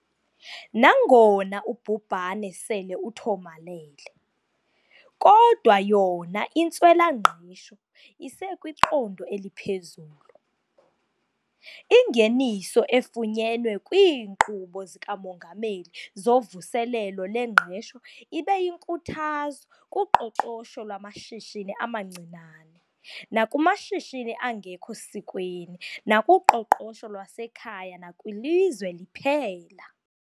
Nangona ubhubhane sele uthomalele, kodwa yona intswela-ngqesho isekwiqondo eliphezulu. Ingeniso efunyenwe kwiinkqubo zikaMongameli zoVuselelo lweNgqesho ibe yinkuthazo kuqoqosho lwamashishini amancinane nakumashishini angekho sikweni nakuqoqosho lwasekhaya nakwilizwe liphela.